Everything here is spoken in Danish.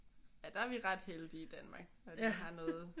Ja der er vi ret heldige i Danmark at vi har noget